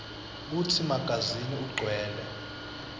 kutsi magazini ugcwele